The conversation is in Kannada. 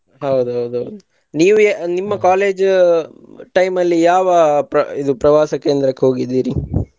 ಹೌದೌದು ನೀವು ನಿಮ್ಮ college time ಅಲ್ಲಿ ಯಾವ ಪ್ರ~ ಇದು ಪ್ರವಾಸ ಕೇಂದ್ರಕ್ಕ ಹೋಗಿದಿರಿ?